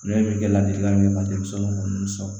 Ne bɛ kɛ ladilikan min ye denmisɛnninw minnu sɔrɔ